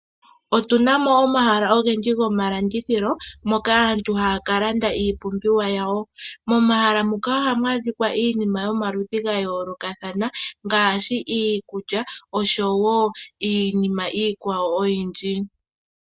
Otu na mo omahala ogendji gomalandithilo moka aantu haya ka landa iipumbiwa yawo. Momahala ngaka ohamu adhika iinima yomaludhi ya yoolokathana, ngaashi iikulya niinima iikwawo oyindji.